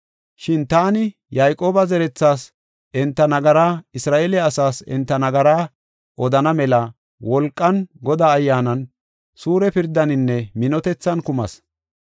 Shin taani Yayqooba zerethaas enta nagara, Isra7eele asaas enta nagaraa odana mela wolqan, Godaa Ayyaanan, suure pirdaaninne minotethan kumas.